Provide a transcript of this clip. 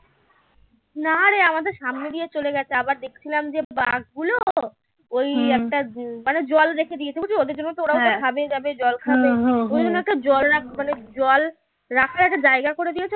নারে আমাদের সামনে দিয়ে চলে গেছে আবার দেখছিলাম যে বাঘ গুলো ওই একটা মানে জল রেখে দিয়েছে বুঝি ওদের জন্য ওরাও খাবে দাবে জল খাবে ওই জন্য একটু জল রাখ মানে জল রাখার একটা জায়গা করে দিয়েছে